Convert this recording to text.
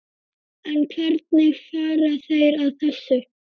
En hvernig fara þeir að þessu?